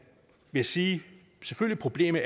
vil sige at problemet